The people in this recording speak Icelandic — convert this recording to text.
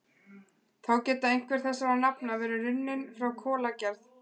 Þá geta einhver þessara nafna verið runnin frá kolagerð.